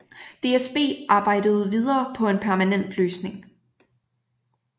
DSB arbejdede videre på en permanent løsning